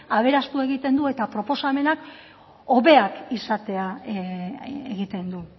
aberastu egiten du eta proposamenak hobeak izatea egiten du